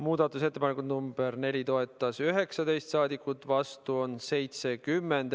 Muudatusettepanekut nr 4 toetas 19 saadikut, vastu on 70.